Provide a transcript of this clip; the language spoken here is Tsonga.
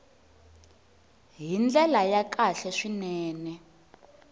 hi ndlela ya kahle swinene